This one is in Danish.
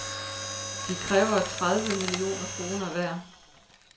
De kræver tredive millioner kroner hver.